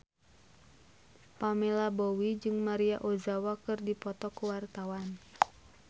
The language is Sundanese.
Pamela Bowie jeung Maria Ozawa keur dipoto ku wartawan